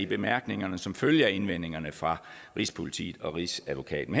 bemærkningerne som følge af indvendingerne fra rigspolitiet og rigsadvokaten